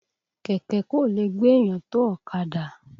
Kẹ̀kẹ́ kò lè gbéyàn tó ọ̀kadà.